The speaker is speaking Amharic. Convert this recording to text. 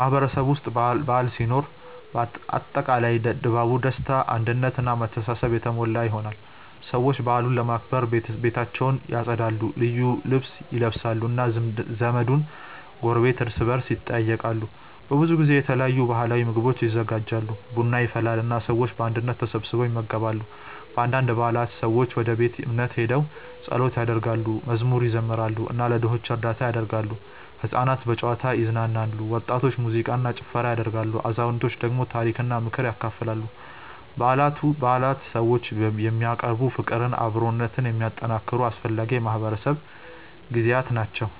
በማህበረሰቤ ውስጥ በዓል ሲኖር አጠቃላይ ድባቡ ደስታ አንድነት እና መተሳሰብ የተሞላ ይሆናል። ሰዎች በዓሉን ለማክበር ቤታቸውን ያጸዳሉ፣ ልዩ ልብስ ይለብሳሉ እና ዘመድና ጎረቤት እርስ በርስ ይጠያየቃሉ። በብዙ ጊዜ የተለያዩ ባህላዊ ምግቦች ይዘጋጃሉ፣ ቡና ይፈላል እና ሰዎች በአንድነት ተሰብስበው ይመገባሉ። በአንዳንድ በዓላት ሰዎች ወደ ቤተ እምነት ሄደው ጸሎት ያደርጋሉ፣ መዝሙር ይዘምራሉ እና ለድሆች እርዳታ ያደርጋሉ። ሕፃናት በጨዋታ ይዝናናሉ፣ ወጣቶች ሙዚቃ እና ጭፈራ ያደርጋሉ፣ አዛውንቶች ደግሞ ታሪክና ምክር ያካፍላሉ። በዓላት ሰዎችን የሚያቀራርቡ፣ ፍቅርና አብሮነትን የሚያጠናክሩ አስፈላጊ የማህበረሰብ ጊዜያት ናቸው።